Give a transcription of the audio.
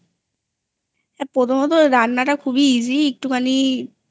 প্রথমত রান্নাটা খুবই Easy একটুখানি